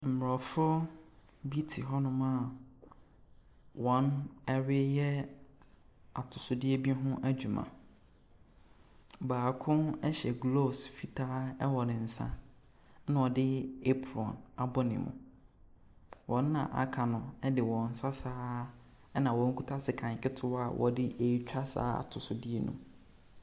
Mmorɔfo bi te hɔnom a wɔreyɛ atosodeɛ bi ho adweuma. Baako hyɛ gloves fitaa wɔ ne nsa ho. Na ɔde apron abɔ ne mu. Wɔn a aka no de wɔn nsa saa ara na wɔkita sekan ketewa a wɔde retwa saa atosodeɛ no.